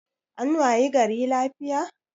An wayi gari lafiya